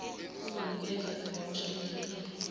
uzonikwezwa ivawusha eyehlukile